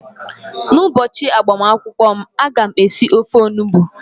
n'ụbọchị agbamakwụkwọ m, a ga m esi ofe onugbu